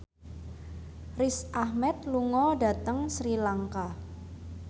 Riz Ahmed lunga dhateng Sri Lanka